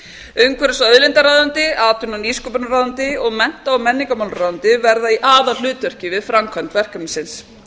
umhverfis og auðlindaráðuneyti atvinnu og nýsköpunarráðuneyti og mennta og menningarmálaráðuneyti verða í aðalhlutverki við framkvæmd verkefnisins